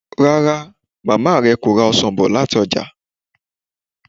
Rárá, màmá rẹ kò ra ọsàn bọ̀ láti ọjà